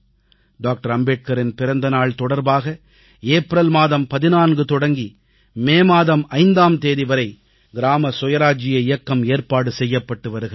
doctor அம்பேத்கரின் பிறந்த நாள் தொடர்பாக ஏப்ரல் மாதம் 14 தொடங்கி மே மாதம் 5ஆம் தேதி வரை கிராம சுயராஜ்ஜிய இயக்கத்திற்கு ஏற்பாடு செய்யப்பட்டு வருகிறது